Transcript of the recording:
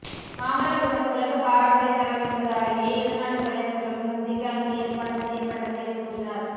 மாமல்லபுரம் உலக பாரம்பரிய தலம் என்பதாலேயே இருநாட்டு தலைவர்களும் சந்திக்க அங்கு ஏற்பாடு செய்யப்பட்டது என கூறினார்